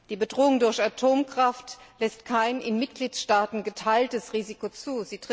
Die Bedrohung durch die Atomkraft lässt kein in Mitgliedstaaten geteiltes Risiko zu.